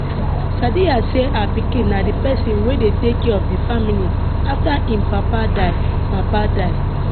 sadiya say her pikin na di person wey dey take care of di family afta im papa die papa die